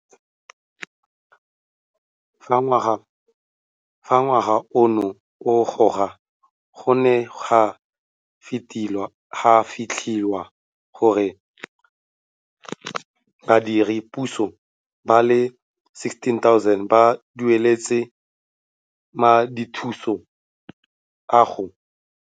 Fa ngwaga ono o roga go ne ga fitlhelwa gore badiredi puso ba le 16 000 ba dueletswe Madithuso a go.